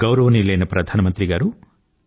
గౌరవనీయులైన ప్రధాన మంత్రి గారూ